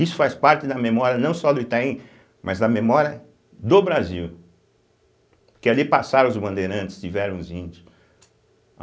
Isso faz parte da memória não só do Itaim, mas da memória do Brasil, que ali passaram os Bandeirantes, tiveram os índios.